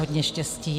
Hodně štěstí.